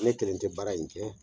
Ne kelen tɛ baara in kɛ!